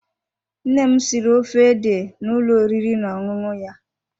Nne m siri ofe ede n'ụlọ oriri na ọṅụṅụ ya.